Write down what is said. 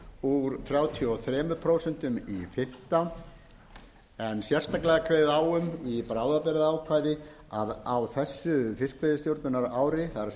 úr þrjátíu og þrjú prósent í fimmtán prósent en sérstaklega kveðið á um í bráðabirgðaákvæði að á þessu fiskveiðistjórnarári